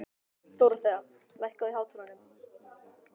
Dorothea, lækkaðu í hátalaranum.